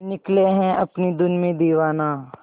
निकले है अपनी धुन में दीवाना